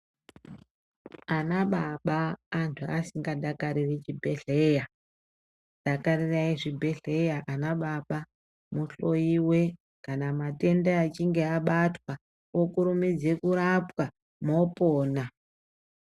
Ana baba antu asingadakariri chibhedhlera. Dakarirai zvibhedhlera anababa muhloyiwe kana matenda achinge abatwa, mokurumidze kurapwa mopona.